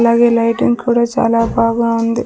ఇలాగే లైటింగ్ కూడా చాలా బాగా ఉంది.